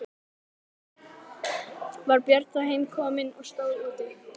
Var Björn þá heim kominn og stóð úti.